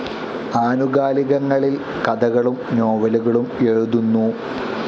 ആനുകാലികങ്ങളിൽ കഥകളും നോവലുകളും എഴുതുന്നു.